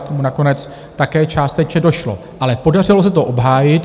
K tomu nakonec také částečně došlo, ale podařilo se to obhájit.